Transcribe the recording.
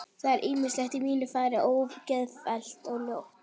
Það er ýmislegt í mínu fari ógeðfellt og ljótt.